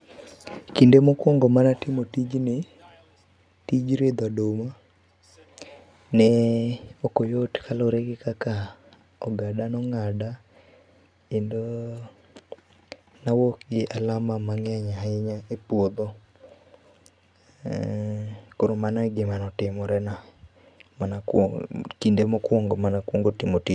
Kinde mokuongo mane atimo tijni, tij ridho oduma, ne okoyot kaluore gi kaka ogada nong'ada kendo nawuok gi alama mang'eny ahinya e puodho. eeh, Koro mano e gima notimore na kinde mokuongo mane akuongo timo tijni